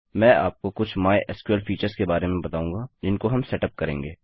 मैं आपको कुछ माइस्क्ल फीचर्स के बारे में बताऊँगा जिनको हम सेटअप करेंगे